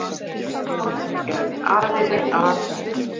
Reykjavíkurborg gerðist aðili að